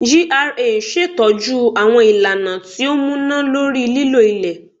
GRA n ṣetọju àwọn ìlànà ti o múná lórí lílo ilẹ